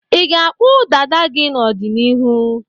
Ị ga-akpụ dada gị n'ọdịniihu?